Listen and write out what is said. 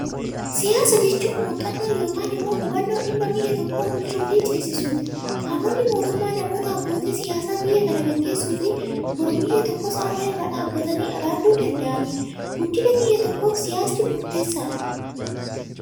Siyaasa jechuun, muuxannoo yookaan immoo hubannoo dhimma biyya tokko bulchuu fi ceesisuuti. Qaamonni mootummaa, namoota abbootii siyaasaa biyya kana gaggeessuufii boruu biyya tokkoos har'a irra dhaabbatanii raaguu danda'anidha. Guddina biyya tokkoof siyaasti murteessaadha.